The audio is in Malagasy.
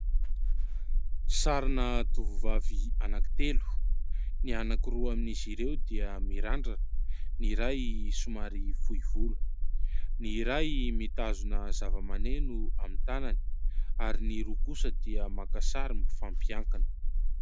Sarina tovovavy anankitelo, ny anankiroa amin'izy ireo dia mirandrana, ny iray somary fohy volo. Ny iray mitazona zavamaneno amin'ny tanany ary ny roa kosa dia maka sary mifampiankina.